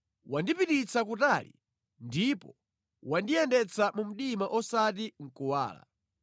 Wandipititsa kutali ndipo wandiyendetsa mu mdima osati mʼkuwala;